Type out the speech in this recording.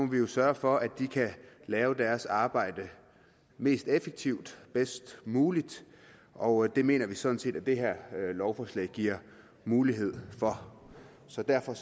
vi jo sørge for at de kan gøre deres arbejde mest effektivt og bedst muligt og det mener vi sådan set at det her lovforslag giver mulighed for så derfor